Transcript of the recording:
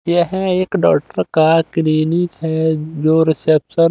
यह एक डॉक्टर का क्लीनिक है जो रिसेप्शन --